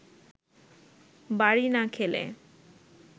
বাড়ি না খেলে